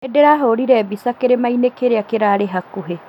Nĩndĩrahũrire mbica kĩrĩma kĩrĩa kĩrarĩ hakuhĩ